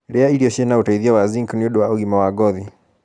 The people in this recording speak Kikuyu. rĩa irio ciĩna ũteithio wa zinc nĩũndũ wa ũgima wa ngothi